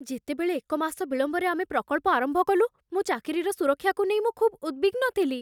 ଯେତେବେଳେ ଏକ ମାସ ବିଳମ୍ବରେ ଆମେ ପ୍ରକଳ୍ପ ଆରମ୍ଭ କଲୁ, ମୋ ଚାକିରିର ସୁରକ୍ଷାକୁ ନେଇ ମୁଁ ଖୁବ୍ ଉଦ୍‌ବିଗ୍ନ ଥିଲି।